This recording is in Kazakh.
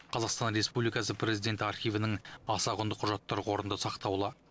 қазақстан республикасы президенті архивінің аса құнды құжаттар қорында сақтаулы